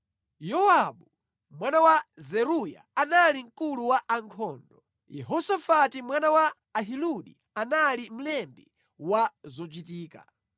Yowabu, mwana wa Zeruya anali mkulu wa ankhondo; Yehosafati mwana wa Ahiludi anali mlembi wa zochitika;